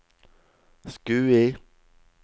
Skui